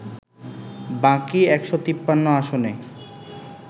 বাকি ১৫৩ আসনে